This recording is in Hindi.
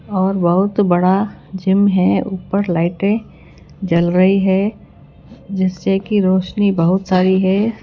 और बहुत बड़ा जिम है ऊपर लाइटें जल रही है जिससे कि रोशनी बहुत सारी है।